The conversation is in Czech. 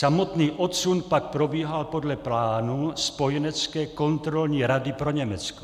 Samotný odsun pak probíhal podle plánu Spojenecké kontrolní rady pro Německo.